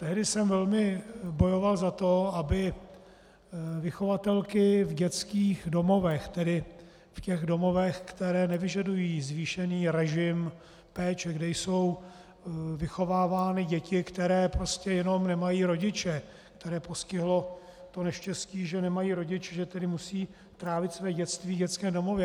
Tehdy jsem velmi bojoval za to, aby vychovatelky v dětských domovech, tedy v těch domovech, které nevyžadují zvýšený režim péče, kde jsou vychovávány děti, které prostě jenom nemají rodiče, které postihlo to neštěstí, že nemají rodiče, že tedy musí trávit své dětství v dětském domově.